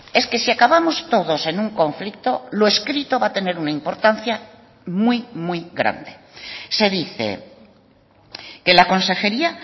es que si acabamos todos en un conflicto lo escrito va a tener una importancia muy muy grande se dice que la consejería